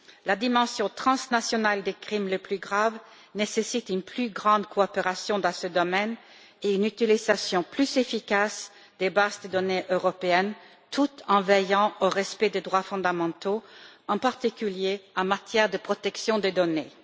La dimension transnationale des crimes les plus graves nécessite une plus grande coopération dans ce domaine et une utilisation plus efficace des bases de données européennes, tout en veillant au respect des droits fondamentaux, en particulier en matière de protection des données.